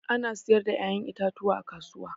Ana sayar da kayan itatuwa a kasuwa.